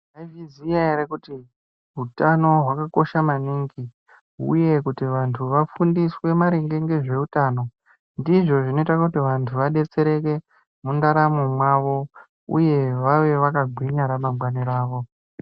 Maizviziya ere kuti hutano hwakakosha maningi, uye kuti vantu vafundiswe maringe ngezvehutano, ndizvo zvinoite kuti vantu vadetsereke mundaramp mwavo uye vave vakagwinya ramangwani ravo.